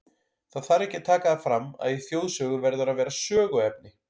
Það þarf ekki að taka það fram, að í þjóðsögu verður að vera söguefni.